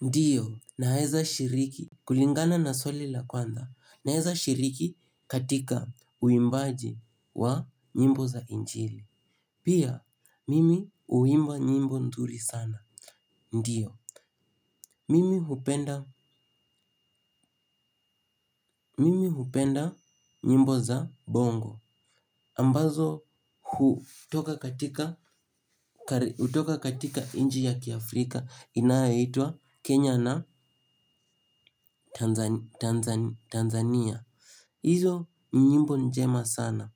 Ndio, naeza shiriki. Kulingana na swali la kwanza, naeza shiriki katika uimbaji wa nyimbo za injili. Pia, mimi uimba nyimbo ndhuri sana. Ndiyo, mimi hupenda nyimbo za bongo. Ambazo hutoka utoka katika inji ya kiafrika inayoitwa Kenya na Tanzania. Izo ni nyimbo njema sana.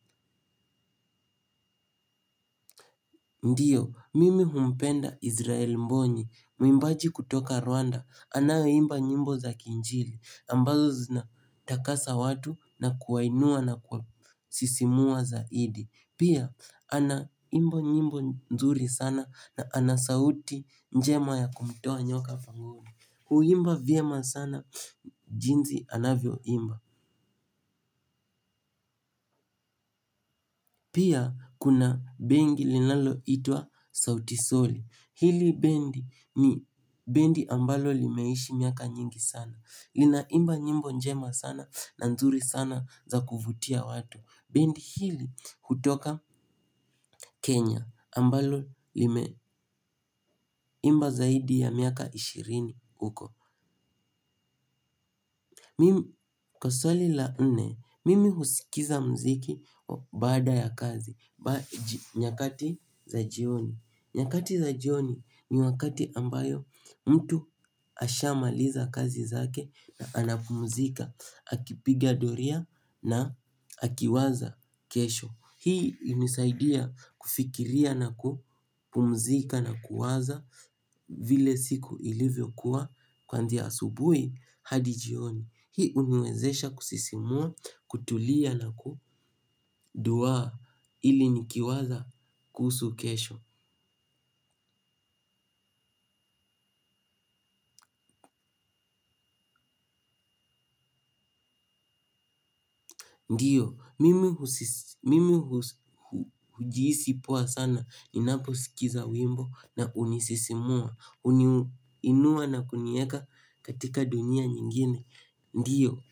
Ndio, mimi humpenda Israel Mboni. Muimbaji kutoka Rwanda, anayeimba nyimbo za kinjili, ambazo zina takasa watu na kuwainua na kuasisimua zaidi. Pia, ana imba nyimbo nzuri sana na ana sauti njema ya kumtoa nyoka pangoni. Huimba vyema sana jinsi anavyoimba. Pia, kuna bengi linaloitwa Sautisoli. Hili bendi ni bendi ambalo limeishi miaka nyingi sana. Linaimba nyimbo njema sana na nzuri sana za kuvutia watu. Bendi hili, hutoka Kenya. Ambalo limeimba zaidi ya miaka ishirini, huko. Kwa swali la nne, mimi husikiza mziki baada ya kazi, nyakati za jioni. Nyakati za jioni ni wakati ambayo mtu ashamaliza kazi zake na anapumzika. Akipiga doria na akiwaza kesho. Hii hunisaidia kufikiria na kupumzika na kuwaza, vile siku ilivyo kua kwanzia asubuhi hadi jioni. Hii huniwezesha kusisimua, kutulia na kuduwaa, ili nikiwaza kuhusu kesho. Ndio, mimi hujiisi poa sana, ninapo sikiza wimbo na unisisimua, uniinua na kunieka katika dunia nyingine. Ndio.